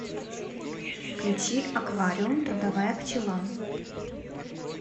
включи аквариум трудовая пчела